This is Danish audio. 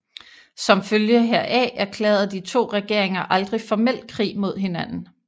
Som følge heraf erklærede de to regeringer aldrig formelt krig mod hinanden